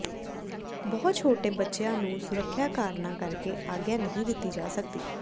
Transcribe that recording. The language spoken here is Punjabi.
ਬਹੁਤ ਛੋਟੇ ਬੱਚਿਆਂ ਨੂੰ ਸੁਰੱਖਿਆ ਕਾਰਨਾਂ ਕਰਕੇ ਆਗਿਆ ਨਹੀਂ ਦਿੱਤੀ ਜਾ ਸਕਦੀ